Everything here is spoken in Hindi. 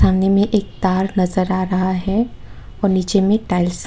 में एक तार नजर आ रहा है और नीचे में टाइल्स --